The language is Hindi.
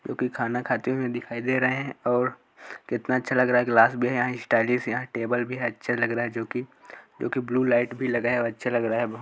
जो कि खाना खाते हुए दिखाई दे रहे हैं और कितना अच्छा लग रहा है ग्लास भी है यहां स्टायलिश यहां टेबल भी हैं अच्छा लग रहा हैं जो कि जो कि ब्लू लाइट भी लगा है अच्छा लग रहा है ब--